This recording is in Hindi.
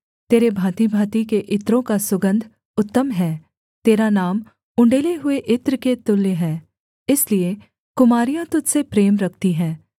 तेरे भाँतिभाँति के इत्रों का सुगन्ध उत्तम है तेरा नाम उण्डेले हुए इत्र के तुल्य है इसलिए कुमारियाँ तुझ से प्रेम रखती हैं